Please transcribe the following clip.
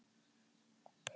Hvað ræða þeir um?